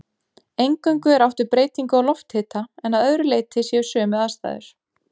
Eingöngu er átt við breytingu á lofthita en að öðru leyti séu sömu aðstæður.